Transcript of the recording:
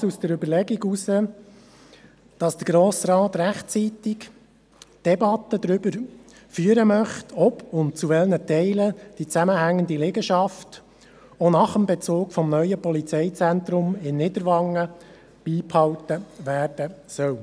Dies geschah aus der Überlegung heraus, dass der Grosse Rat rechtzeitig eine Debatte darüber führen möchte, ob und zu welchen Teilen die zusammenhängende Liegenschaft auch nach dem Bezug des neuen Polizeizentrums in Niederwangen beibehalten werden soll.